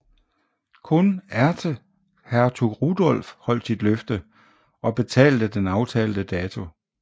Kun ærkehertug Rudolf holdt sit løfte og betalte den aftalte dato